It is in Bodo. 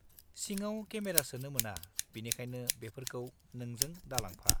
-सिङाव केमेरा सोनो मोना बिनिखायनो बेफोरखौ नोंजों दालांफा।